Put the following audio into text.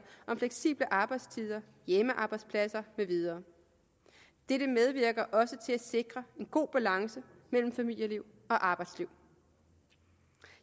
om fleksible arbejdstider hjemmearbejdspladser med videre dette medvirker også til at sikre en god balance mellem familieliv og arbejdsliv